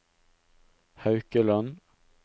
Haukeland